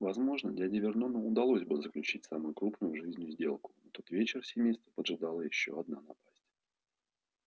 возможно дяде вернону удалось бы заключить самую крупную в жизни сделку но в тот вечер семейство поджидало ещё одна напасть